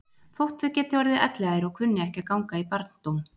Þótt þau geti orðið elliær og kunni ekki að ganga í barndóm.